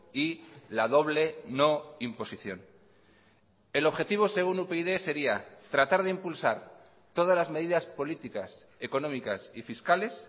y la doble no imposición el objetivo según upyd sería tratar de impulsar todas las medidas políticas económicas y fiscales